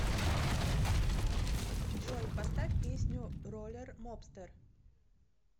джой поставь песню роллер мобстер